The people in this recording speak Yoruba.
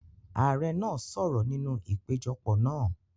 Ààrẹ náà sọ̀rọ̀ nínú ìpéjọpọ̀ náà.